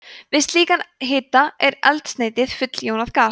við slíkan hita er eldsneytið full jónað gas